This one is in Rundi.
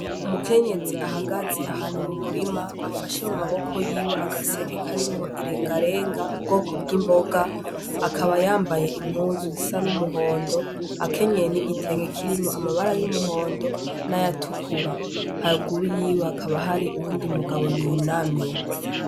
Umukenyezi ahagaze ahantu mu murima afashe mumaboko yiwe agaseke karimwo irengarenga ubwoko bw'imboga akaba yambaye impuzu zisa n'umuhondo akaba akenyeye n'igitenge kirimwo amabara y'umuhondo nayatukura haruguru yiwe hakaba hari uyundi mugabo yunamye.